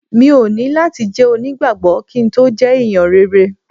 Mi ò ní láti jẹ́ onígbàgbọ́ kí n tó jẹ́ ẹ̀yàn rere.